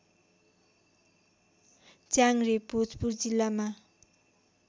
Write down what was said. च्याङ्ग्रे भोजपुर जिल्लामा